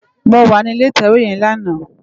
Mó wà ni ilé itèwé yèn làná